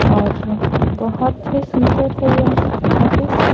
और बहुत ही सुंदर हैं ये ऑफिस --